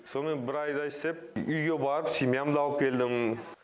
сонымен бір айдай істеп үйге барып семьямды алып келдім